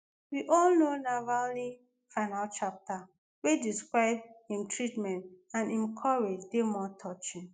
we all know navalny final chapter wey describe im treatment and im courage dey more touching